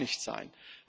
Das darf nicht sein.